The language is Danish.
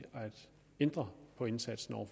ændre på indsatsen over